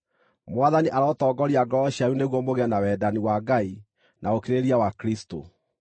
Mwathani arotongoria ngoro cianyu nĩguo mũgĩe na wendani wa Ngai na ũkirĩrĩria wa Kristũ.